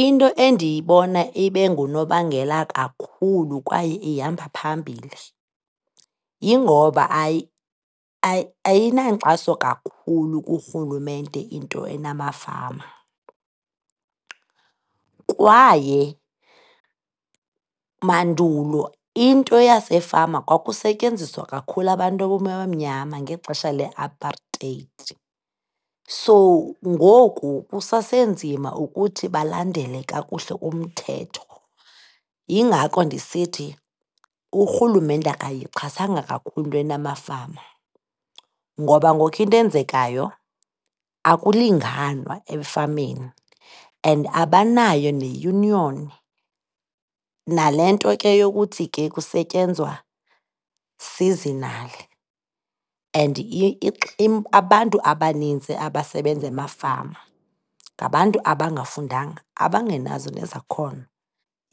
Into endiyibona ibe ngunobangela kakhulu kwaye ihamba phambili, yingoba ayinankxaso kakhulu kurhulumente into enamafama. Kwaye mandulo, into yasefama kwakusetyenziswa kakhulu abantu abamnyama ngexesha le-apartheid, so ngoku kusasenzima ukuthi balandele kakuhle umthetho. Yingako ndisithi urhulumente akayixhasanga kakhulu into enamafama ngoba ngoku into eyenzekayo, akulinganwa efameni and abanayo neyuniyoni. Nale nto ke yokuthi ke kusetyenzwa seasonally. And abantu abanintsi abasebenza emafama, ngabantu abangafundanga, abangenazo nezakhono,